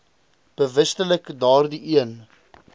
bewustelik daardie een